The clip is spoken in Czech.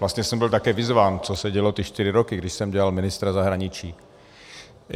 Vlastně jsem byl také vyzván, co se dělo ty čtyři roky, kdy jsem dělal ministra zahraničí.